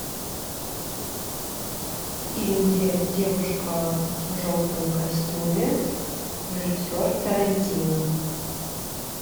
фильм где девушка в желтом костюме режиссер тарантино